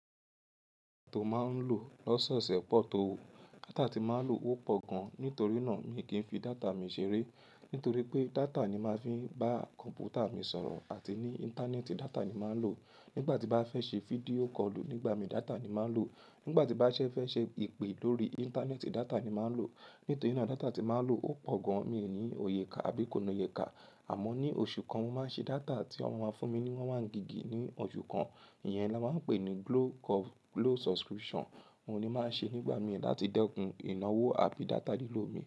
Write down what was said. To máa ń lò lọ́soose pọ̀ tó o. Data tí máa ń lò ó pọ̀ gan. Nítorí náà mi kì í fi data mi ṣeré. Nítorí pé data ni màá fi ń bá kọ̀mpútà mi sọ̀rọ̀ àti ní Íńtánẹ́ẹ̀tì data ni màá ń lò. Nígbà tí bá fẹ́ ṣe fídíò kọlù nígbà mi data ni màá ń lò. Nígbà tí bá fẹ́ ṣe ìpè lórí Íńtánẹ́ẹ̀tì data ni màá ń lò. Nítorí náà data tí màá ń lò ó pọ̀ gan, mi ò ní òye kà àbí kò ni oyẹ kà. Àmọ́ ní oṣù kan, mo máa ń ṣe data tí wọ́n máa ń fún mi ni one one gígì ní oṣù kan. Iyẹn la máa ń pè ní glo curve glo subscription. Óun ni màá ń ṣe nígbà mìíràn láti dẹ́kun ìnáwó àbí data lílò mi.